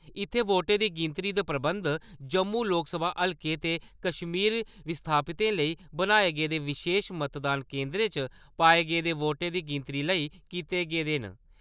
इत्थैं वोटें दी गिनतरी दे प्रबंध जम्मू लोकसभा हलके ते कश्मीरी विस्थापितें लेई बनाए गेदे विशेश मतदान केन्द्रे च पाए गेदे वोटें दी गिनतरी लेई कीते गेदे न।